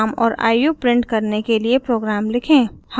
अपने नाम और आयु प्रिंट करने के लिए प्रोग्राम लिखें